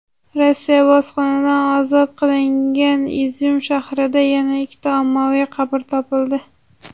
Rossiya bosqinidan ozod qilingan Izyum shahrida yana ikkita ommaviy qabr topildi.